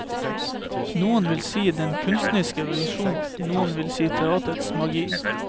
Noen ville si den kunstneriske visjonen, noen ville si teatrets magi.